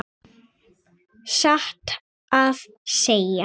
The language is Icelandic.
Satt að segja.